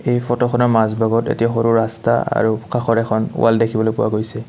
এই ফটোখনৰ মাজ ভাগত এটি সৰু ৰাস্তা আৰু কাষত এখন ৱাল্ দেখিবলৈ পোৱা গৈছে।